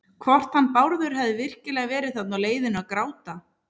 Hvort hann Bárður hefði virkilega verið þarna á leiðinu að gráta.